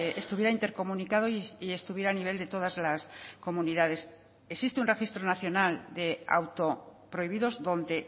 estuviera intercomunicado y estuviera a nivel de todas las comunidades existe un registro nacional de auto prohibidos donde